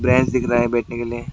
दिख रहा है बैठने के लिए।